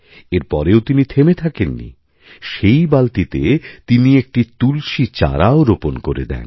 এরপরেও তিনি থেমে থাকেন নি সেই বালতিতে তিনি একটি তুলসী চারাও রোপণ করে দেন